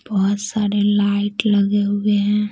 बहुत सारे लाइट लगे हुए हैं।